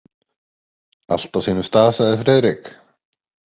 Allt á sínum stað sagði Friðrik.